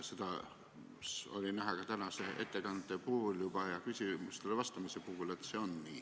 Seda on näha ka tänase ettekande puhul ja küsimustele vastamisel.